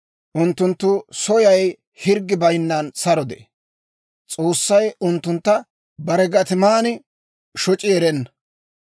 Unttunttu soyay hirggi bayinnan saro de'ee; S'oossay unttuntta bare gatiman shoc'i erenna.